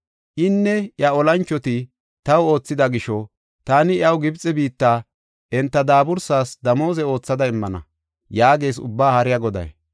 Inne iya olanchoti taw oothida gisho, taani iyaw Gibxe biitta enta daaburas damooze oothada immana’ ” yaagees Ubba Haariya Goday.